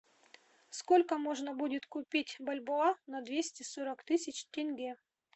сколько можно будет купить бальбоа на двести сорок тысяч тенге